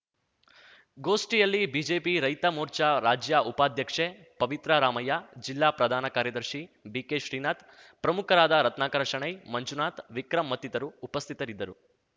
ಗೋಷ್ಠಿಯಲ್ಲಿ ಬಿಜೆಪಿ ರೈತ ಮೋರ್ಚಾ ರಾಜ್ಯ ಉಪಾಧ್ಯಕ್ಷೆ ಪವಿತ್ರ ರಾಮಯ್ಯ ಜಿಲ್ಲಾ ಪ್ರಧಾನ ಕಾರ್ಯದರ್ಶಿ ಬಿಕೆ ಶ್ರೀನಾಥ್‌ ಪ್ರಮುಖರಾದ ರತ್ನಾಕರ ಶಣೈ ಮಂಜುನಾಥ್‌ ವಿಕ್ರಂ ಮತ್ತಿತರು ಉಪಸ್ಥಿತರಿದ್ದರು